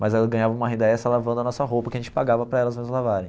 Mas elas ganhavam uma renda extra lavando a nossa roupa, que a gente pagava para elas nos lavarem.